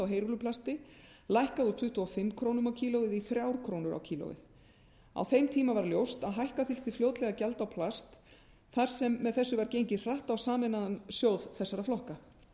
heyrúlluplasti lækkað úr tuttugu og fimm krónur kílógrömmum á þeim tíma var ljóst að hækka þyrfti fljótlega gjald á plast þar sem með þessu var gengið hratt á sameinaðan sjóð þessara flokka